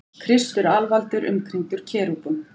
Kristur alvaldur umkringdur kerúbum.